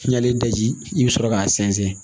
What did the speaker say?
N'i y'ale daji i bɛ sɔrɔ k'a sɛnsɛn